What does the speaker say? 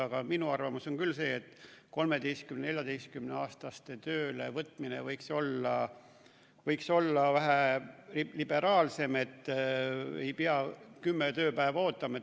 Aga minu arvamus on küll see, et 13–14-aastaste töölevõtmine võiks olla vähe liberaalsem, et ei peaks 10 tööpäeva ootama.